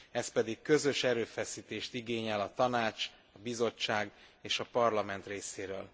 Ez pedig közös erőfeszítést igényel a Tanács, a Bizottság és a Parlament részéről.